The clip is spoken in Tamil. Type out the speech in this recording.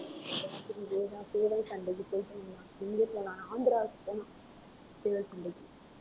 சேவல் சண்டைக்கு ஆந்திராக்கு போகணும் சேவல் சண்டைக்கு